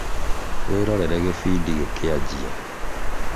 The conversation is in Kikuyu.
wirorere gĩbindi gĩkĩanjia